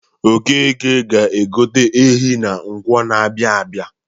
Okeke ga-egote ehi na Nkwọ na-abịa abịa.